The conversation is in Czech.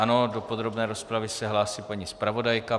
Ano, do podrobné rozpravy se hlásí paní zpravodajka.